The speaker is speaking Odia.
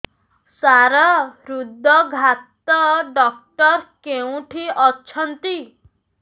ସାର ହୃଦଘାତ ଡକ୍ଟର କେଉଁଠି ଅଛନ୍ତି